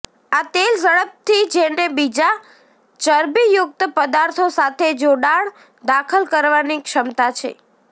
આ તેલ ઝડપથી જેને બીજા ચરબીયુકત પદાર્થો સાથે જોડાણ દાખલ કરવાની ક્ષમતા છે